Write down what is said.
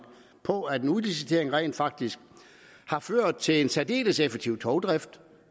på at en udlicitering rent faktisk har ført til en særdeles effektiv togdrift